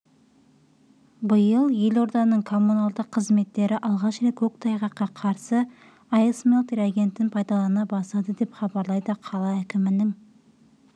биыл елорданың коммуналды қызметтері алғаш рет көктайғаққа қарсы айсмелт реагентін пайдалана бастады деп хабарлайды қала әкімінің